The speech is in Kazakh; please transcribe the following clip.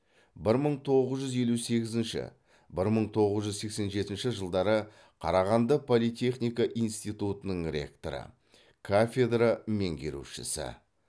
бір мың тоғыз жүз елу сегізінші бір мың тоғыз жүз сексен жетінші жылдары қарағанды политехника институтының ректоры кафедра меңгерушісі